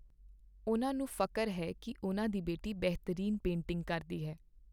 ਉਨ੍ਹਾਂ ਨੂੰ ਫ਼ਖਰ ਹੈ ਕੀ ਉਨ੍ਹਾਂ ਦੀ ਬੇਟੀ ਬਿਹਤਰੀਨ ਪੇਂਟਿੰਗ ਕਰਦੀ ਹੈ।